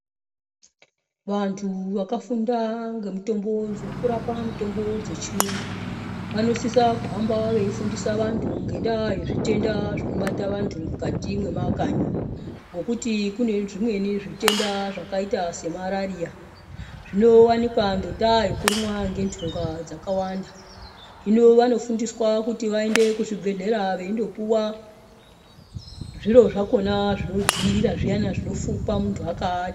Vantu vakafunda ngezve kurapa mitombo yechiyungu vanosisa kuhamba veifundisa vantu ngendaa yezvitenda zvinobata vantu mukati memakanyi ngokuti kune zvimweni zvitenda zvakaita semarariya zvinowanika ngendaa yekurumwa ngendunga dzakawanda hino vanofundiswa kuti vaende kuzvibhehlera veindopiwa zviro zvakona zvinodziirira zviya zviyana zvinofukwa nemuntu akaata.